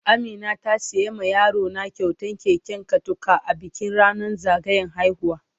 Amina ta siya ma yaro na kyautan keken katako a bikin ranan zagayan haihuwa.